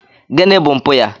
Gịnị bụ mpụ ya?